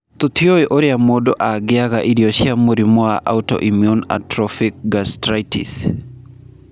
Tũtiũĩ ũrĩa mũndũ angĩaga irio cia mũrimũ wa autoimmune atrophic gastritis.